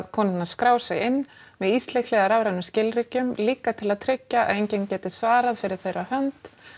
konurnar skrá sig inn með íslykli eða rafrænum skilríkjum líka til að tryggja að enginn geti svarað fyrir þeirra hönd